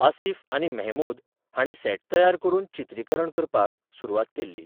असिफ आनी मेहमूद हांणी सेट तयार करून चित्रीकरण करपाक सुरवात केल्ली.